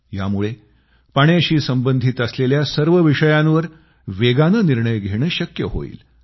यामुळे पाण्याशी संबंधित असलेल्या सर्व विषयांवर वेगानं निर्णय घेणं शक्य होईल